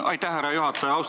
Aitäh, härra juhataja!